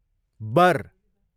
बर